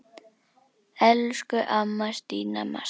Elsku amma Stína Mass.